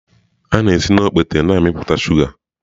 A na-esi na okpete na-amịpụta shuga.